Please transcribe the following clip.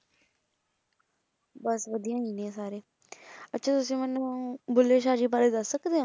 ਬਸ ਵਧੀਆ ਹੁਣੇ ਸਾਰੇ ਅੱਛਾ ਤੁਸੀ ਮੈਨੂੰ ਊਂ ਬੁੱਲੇ ਸ਼ਾਹ ਜੀ ਬਾਰੇ ਦੱਸ ਸਕਦੇ ਹੋ।